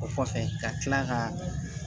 O kɔfɛ ka tila ka